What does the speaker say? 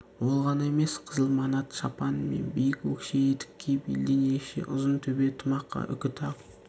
ол ғана емес қызыл манат шапан мен биік өкше етік киіп елден ерекше ұзын төбе тымаққа үкі тағып